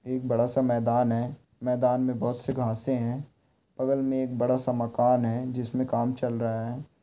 एक बड़ा-सा मैदान है। मैदान में बहोत से घांसें हैं। बगल मे एक बड़ा-सा मकान है जिसमे काम चल रहा है।